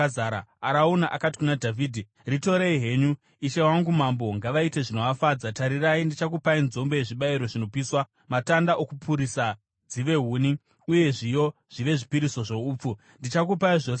Arauna akati kuna Dhavhidhi, “Ritorei henyu! Ishe wangu mambo ngavaite zvinovafadza. Tarirai ndichakupai nzombe yezvibayiro zvinopiswa, matanda okupurisa dzive huni, uye zviyo zvive zvipiriso zvoupfu. Ndichakupai zvose izvi.”